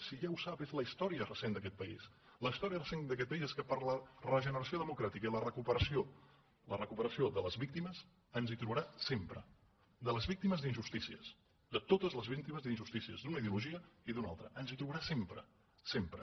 si ja ho sap és la història recent d’aquest país la història recent d’aquest país és que per a la regeneració democràtica i la recuperació de les víctimes ens hi trobarà sempre de les víctimes d’injustícies de totes les víctimes d’injustícies d’una ideologia i d’una altra ens hi trobarà sempre sempre